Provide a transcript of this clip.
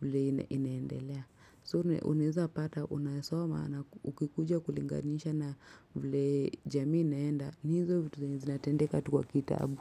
vile inendelea. Soo unaeza pata unasoma na ukikuja kulinganiisha na vile jamii naenda hizo vitu zinatendeka tu kwa kitabu.